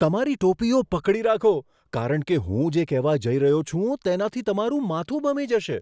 તમારી ટોપીઓ પકડી રાખો, કારણ કે હું જે કહેવા જઈ રહ્યો છું તેનાથી તમારું માથું ભમી જશે.